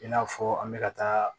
I n'a fɔ an bɛ ka taa